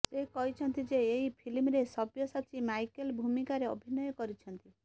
ସେ କହିଛନ୍ତି ଯେ ଏହି ଫିଲ୍ମରେ ସବ୍ୟସାଚୀ ମାଇକେଲ ଭୂମିକାରେ ଅଭିନୟ କରିଛନ୍ତି